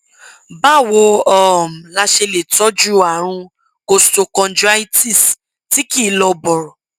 báwo um la ṣe lè tọjú àrùn costochondritis tí kì í lọ bọrọ